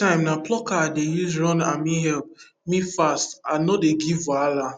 for cashew time na plucker i dey use run ame help me fast and no dey give wahala